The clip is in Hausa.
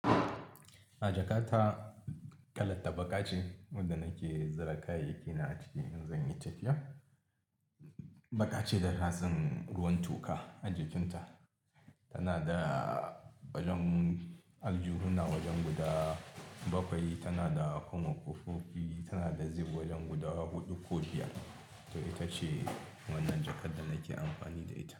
A jakata kalar ta baƙa ce, wanda nake zira kayayyaki na a ciki in zan yi tafiya. Baƙa ce da ratsin ruwan toka a jikin ta. Tana da wajen aljuhuna wajen guda bakwai, tana da kuma kufofi, tana da zip wajen guda huɗu ko biyar. To ita ce wannan jakar da nake amfani da ita.